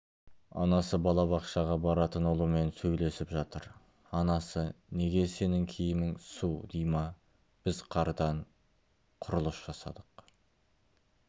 анасы балабақшаға баратын ұлымен сөйлесіп жатыр анасы неге сенің киімің су дима біз қардан құрылыс жасадық